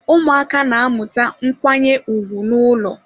Ụmụaka na-amụta nkwanye ùgwù n'ụlọ.